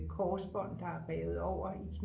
et korsbånd der er revet over i knæet